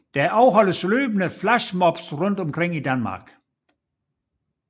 Der afholdes løbende flash mobs rundt omkring i Danmark